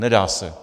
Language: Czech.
Nedá se.